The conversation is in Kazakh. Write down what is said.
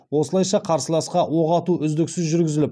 осылайша қарсыласқа оқ ату үздіксіз жүргізіліп